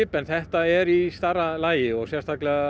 en þetta er í stærra lagi og sérstaklega